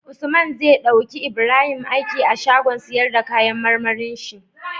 Usman zai dauki Ibrahim aiki a shagon siyar da kayan marmarin shi